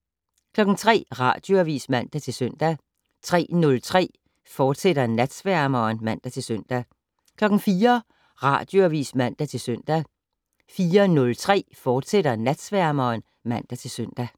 03:00: Radioavis (man-søn) 03:03: Natsværmeren *(man-søn) 04:00: Radioavis (man-søn) 04:03: Natsværmeren, fortsat (man-søn)